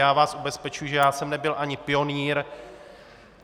Já vás ubezpečuji, že já jsem nebyl ani pionýr.